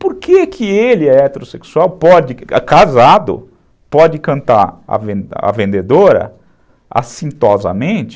Por que que ele é heterossexual, casado, pode cantar a vendedora assintosamente?